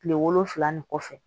Kile wolonfila nin kɔfɛ